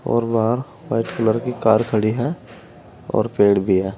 और वहां white colour की कार खड़ी है और पेड़ भी है।